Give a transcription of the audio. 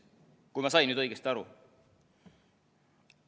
Kui ma sain nüüd õigesti aru.